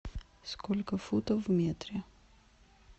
сколько футов в метре